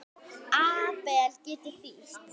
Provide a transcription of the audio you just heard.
Abel getur þýtt